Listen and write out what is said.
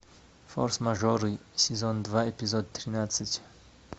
форс мажоры сезон два эпизод тринадцать